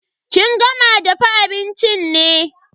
Kin gama dafa abincin ne?